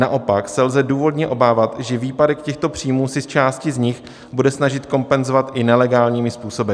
Naopak se lze důvodně obávat, že výpadek těchto příjmů si část z nich bude snažit kompenzovat i nelegálními způsoby.